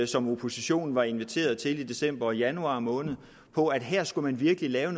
som oppositionen var inviteret til i december og januar måned på at her skulle man virkelig lave